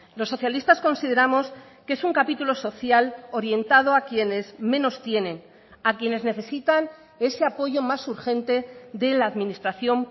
los socialistas consideramos que es un capítulo social orientado a quienes menos tienen a quienes necesitan ese apoyo más urgente de la administración